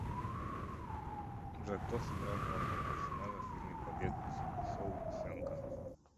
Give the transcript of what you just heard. джой кто сыграл главного персонажа в фильме побег из шоушенка